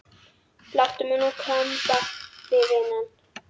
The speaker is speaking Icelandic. Láttu mig nú kemba það vinan.